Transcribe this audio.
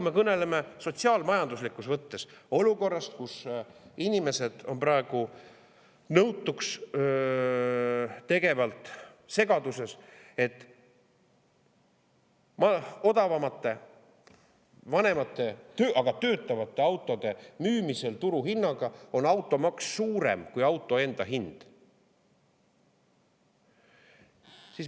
Me kõneleme sotsiaal‑majanduslikus mõttes olukorrast, kus inimesed on praegu nõutukstegevas segaduses, sest odavamate, vanemate, aga töötavate autode müümisel turuhinnaga on automaks suurem kui auto enda hind.